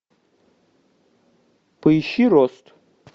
поищи рост